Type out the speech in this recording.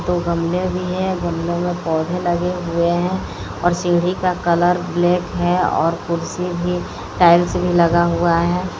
दो गमले भी है गमलों में पौधे लगे हुए हैं और सीढ़ी का कलर ब्लैक है और कुर्सी भी टाइल्स भी लगा हुआ है।